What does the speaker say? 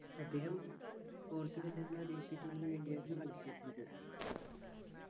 അദ്ദേഹം പോർച്ചുഗൽ എന്ന ദേശീയ team ന് വേണ്ടിയായിരുന്നു കളിച്ചിരുന്നത്